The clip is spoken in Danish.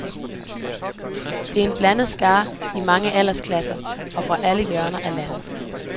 Det er en blandet skare i mange aldersklasser og fra alle hjørner af landet.